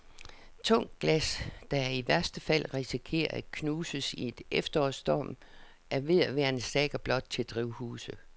Tungt glas, der i værste fald risikerer at knuses i en efterårsstorm, er ved at være en saga blot til drivhuse.